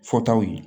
Fɔtaw ye